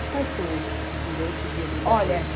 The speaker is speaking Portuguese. E quais são os direitos e obrigações? Olha